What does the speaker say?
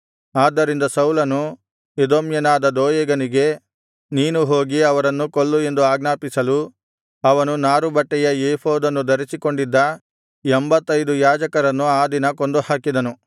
ಆದ್ದರಿಂದ ಸೌಲನು ಎದೋಮ್ಯನಾದ ದೋಯೇಗನಿಗೆ ನೀನು ಹೋಗಿ ಅವರನ್ನು ಕೊಲ್ಲು ಎಂದು ಆಜ್ಞಾಪಿಸಲು ಅವನು ನಾರು ಬಟ್ಟೆಯ ಎಪೋದನ್ನು ಧರಿಸಿಕೊಂಡಿದ್ದ ಎಂಭತ್ತೈದು ಯಾಜಕರನ್ನು ಆ ದಿನ ಕೊಂದುಹಾಕಿದನು